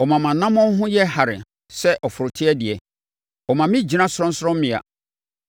Ɔma mʼanammɔn ho yɛ hare sɛ ɔforoteɛ deɛ. Ɔma me gyina sorɔnsorɔmmea.